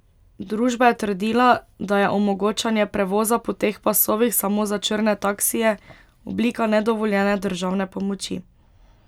Družba je trdila, da je omogočanje prevoza po teh pasovih samo za črne taksije oblika nedovoljene državne pomoči.